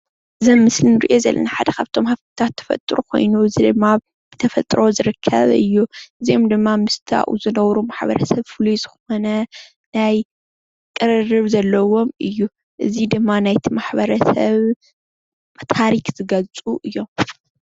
እዚ ኣብ ምስሊ እንሪኦ ዘለና ሓደ ካብቶም ሃፍትታት ተፈጥሮ ኮይኑ እዚ ድማ ብተፈጥሮ ዝርከብ እዩ፡፡ እዚኦም ድማ ምስቲ ኣብኡ ዝነብሩ ማሕበረሰብ ፍሉይ ዝኮነ ናይ ቅርርብ ዘለዎም እዩ፡፡ እዚ ድማ ናይ ማሕበረሰብ ታሪክ ዝገልፁ እዮም፡፡